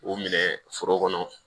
U minɛ foro kɔnɔ